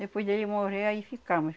Depois dele morrer, aí ficamos.